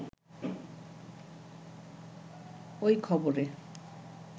ওই খবরে